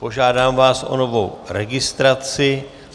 Požádám vás o novou registraci.